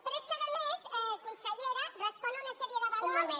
però és que a més consellera respon a una sèrie de valors